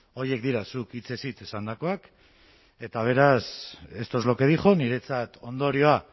horiek dira zuk hitzez hitz esandakoak eta beraz esto es lo que dijo niretzat ondorioa